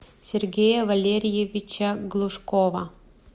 сергея валерьевича глушкова